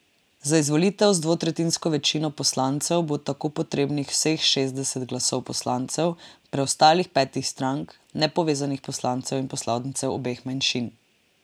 Za izvolitev z dvotretjinsko večino poslancev bo tako potrebnih vseh šestdeset glasov poslancev preostalih petih strank, nepovezanih poslancev in poslancev obeh manjšin.